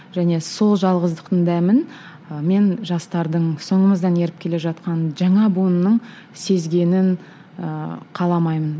және сол жалғыздықтың дәмін ы мен жастардың соңымыздан еріп келе жатқан жаңа буынның сезгенін ыыы қаламаймын